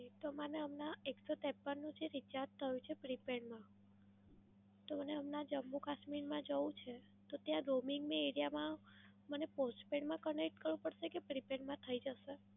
તો મને હમણાં એકસો ત્રેપન નું જે recharge થયું છે prepaid માં, તો મને હમણાં જમ્મુ કાશ્મીર માં જવું છે તો ત્યાં roaming ની area માં મને postpaid માં connect કરવું પડશે કે prepaid માં થઈ જશે?